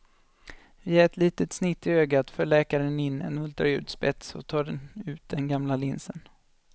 Via ett litet snitt i ögat för läkaren in en ultraljudsspets och tar ut den gamla linsen.